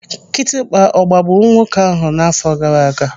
Kịtịkpa ọ gbagburu nwoke ahụ n'afọ gaaraaga?